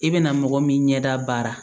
I bɛna mɔgɔ min ɲɛ da baara